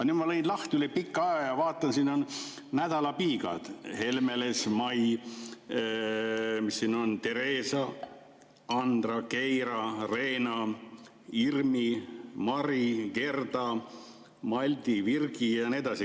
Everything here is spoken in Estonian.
Nüüd ma lõin selle lehe üle pika aja lahti ja vaatan, et siin on nädalapiigad: Helmeles, Mai, Tereesa, Andra, Keira, Reena, Irmi, Mari, Gerda, Maldi, Virgi ja nii edasi.